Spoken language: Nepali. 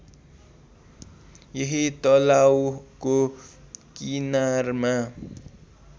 यही तलाउको किनारमा